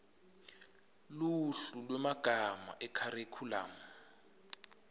luhlu lwemagama ekharikhulamu